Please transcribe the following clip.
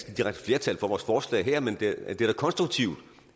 flertal for vores forslag her men det er da konstruktivt